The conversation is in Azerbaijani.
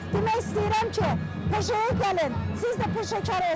Demək istəyirəm ki, peşəyə gəlin, siz də peşəkar olun.